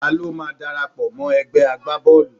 Ta ló máa darapọ̀ mọ́ egbe agbá Bọ́ọ̀lù.?